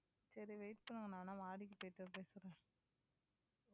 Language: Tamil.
சரி wait பண்ணுங்க நான் வேணும்னா மாடிக்கு போய் பேசறேன்